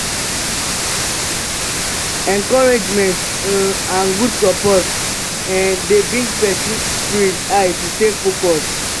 encouragement um and good support um dey bring pesin spirit high to stay focused.